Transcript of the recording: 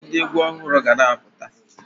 Ndị egwu ọhụrụ ga-na apụta